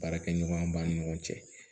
Baarakɛɲɔgɔnya b'an ni ɲɔgɔn cɛ